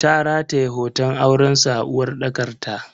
Ta rataye hoton aurensu a uwarɗakar ta.